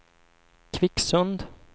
Kvicksund